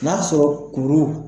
N'a sɔrɔ kuru